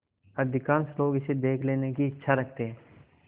अधिकांश लोग इसे देख लेने की इच्छा रखते हैं